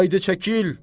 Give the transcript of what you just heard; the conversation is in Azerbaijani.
Haydı çəkil!